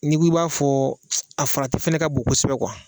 N'i ko i b'a fɔ a farati fana ka bon kosɛbɛ